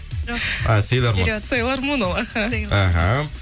жоқ силармон силармон ол аха аха